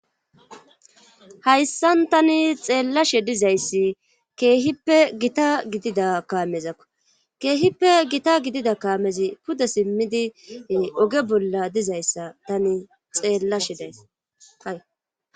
hayssan tani xeellashe dizayssi keehippe gita gidida kaamezakko keehippe gita gidida kaamezi pude simmidi oge bolla dizayssa tani xeellashe days